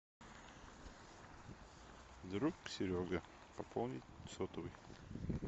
друг серега пополнить сотовый